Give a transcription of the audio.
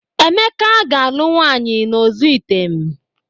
Emeka ga-alụ nwaanyị n'ozi item.